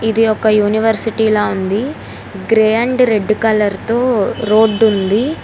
ఇది ఒక యూనివర్సిటీ లా ఉంది గ్రే అండ్ రెడ్ కలర్ తో రోడ్డు ఉంది.